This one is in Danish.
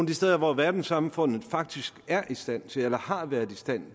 de steder hvor verdenssamfundet faktisk er i stand til eller har været i stand